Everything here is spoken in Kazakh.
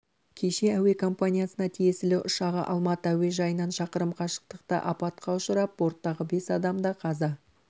кеше әуе компаниясына тиесілі ұшағы алматы әуежайынан шақырым қашықтықта апатқа ұшырап борттағы бес адам да қаза